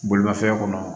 Bolimafɛn kɔnɔ